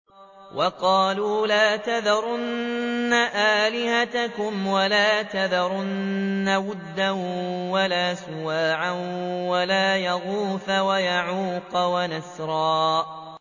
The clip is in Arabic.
وَقَالُوا لَا تَذَرُنَّ آلِهَتَكُمْ وَلَا تَذَرُنَّ وَدًّا وَلَا سُوَاعًا وَلَا يَغُوثَ وَيَعُوقَ وَنَسْرًا